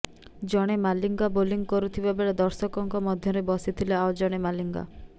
ଜଣେ ମାଲିଙ୍ଗା ବୋଲିଂ କରୁଥିବା ବେଳେ ଦର୍ଶକଙ୍କ ମଧ୍ୟରେ ବସିଥିଲେ ଆଉ ଜଣେ ମାଲିଙ୍ଗା